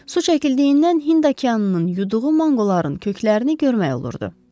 Su çəkildiyindən Hind okeanının yuduğu manqoların köklərini görmək olurdu.